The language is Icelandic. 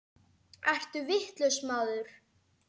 Ertu vitlaus maður?